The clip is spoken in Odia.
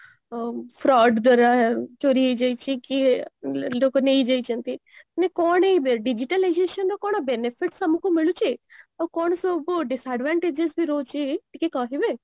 fraud ଦ୍ୱାରା ଚୋରି ହେଇଯାଇଛି କି ଲୋକ ନେଇଯାଇଛନ୍ତି ମାନେ କଣ ଏଇ digitalization ର କଣ benefits ଆମକୁ ମିଳୁଛି ଆଉ କଣ ସବୁ disadvantages ରହୁଛି ଟିକେ କହିବେ